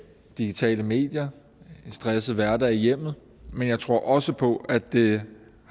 digitale medier en stresset hverdag i hjemmet men jeg tror også på at det